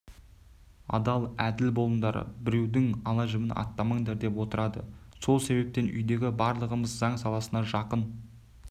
адал әділ болыңдар біреудің ала-жібін аттамаңдар деп отырады сол себептен үйдегі барлығымыз заң саласына жақын